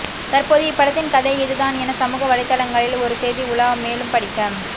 தற்போது இப்படத்தின் கதை இது தான் என சமூக வலைத்தளங்களில் ஒரு செய்தி உலா மேலும் படிக்க